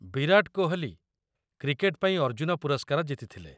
ବିରାଟ Kohli cricket ପାଇଁ ଅର୍ଜୁନ ପୁରସ୍କାର ଜିତିଥିଲେ।